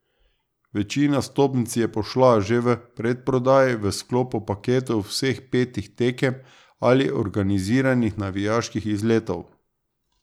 Večina vstopnic je pošla že v predprodaji v sklopu paketov vseh petih tekem ali organiziranih navijaških izletov.